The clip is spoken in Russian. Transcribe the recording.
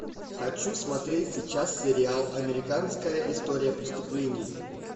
хочу смотреть сейчас сериал американская история преступлений